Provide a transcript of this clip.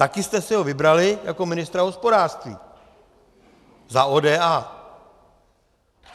Také jste si ho vybrali jako ministra hospodářství za ODA.